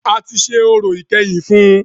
A tí ṣe orò ìkẹyìn fún ùn